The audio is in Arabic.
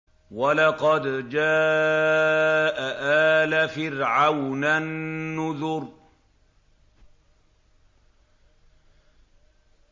وَلَقَدْ جَاءَ آلَ فِرْعَوْنَ النُّذُرُ